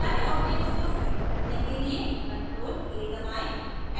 सारे objects को select करने के लिए ctrl + a दबाएं